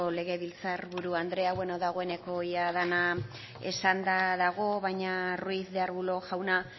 legebiltzar buru anderea dagoeneko dena esanda dago baina ruiz de arbulo jauna